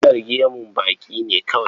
Kalar gemu baƙi ne kawai?